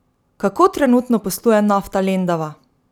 Kako trenutno posluje Nafta Lendava?